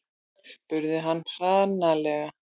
spurði hann hranalega.